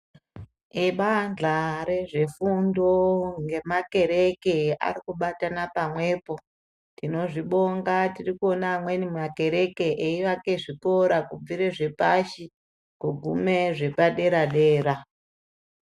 Ebandla rezvefundo ngemakereke ari kubatana pamwe po. Tinozvibonga tiri kuona amweni makereke eiaka zvikora kubva zvepashi kuguma zvepadera dera.